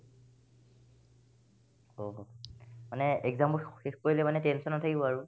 অ, মানে exam বোৰ খ শেষ কৰিলে মানে tension নাথাকিব আৰু